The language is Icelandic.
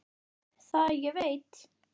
Það ég veit.